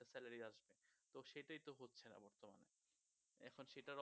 তো সেটাই তো হচ্ছেনা বর্তমানে এখন সেটার